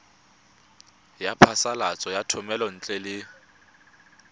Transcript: ya phasalatso ya thomelontle le